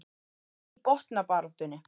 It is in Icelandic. En í botnbaráttunni?